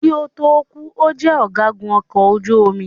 Kí ó tó kù,o jẹ ọ̀gágun ọkọ̀ ojú omi.